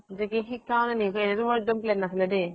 যে কি শিকাও নে নিশিকাও সেইতো মোৰ এক্দম plan নাছিলে দে।